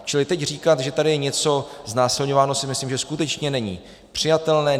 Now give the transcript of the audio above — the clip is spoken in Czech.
Čili teď říkat, že tady je něco znásilňováno, si myslím, že skutečně není přijatelné.